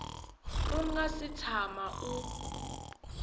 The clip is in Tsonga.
u nga si tshama u